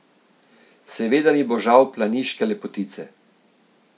Seveda mi bo žal planiške lepotice.